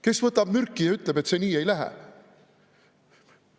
Kes võtab selle peale mürki, et see nii ei lähe?